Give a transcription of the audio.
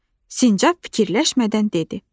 Sincab fikirləşmədən dedi.